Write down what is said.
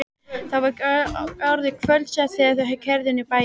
Það var orðið kvöldsett þegar þau keyrðu inn í bæinn.